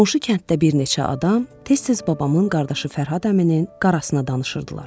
Qonşu kənddə bir neçə adam tez-tez babamın qardaşı Fərhad əminin qarasına danışırdılar.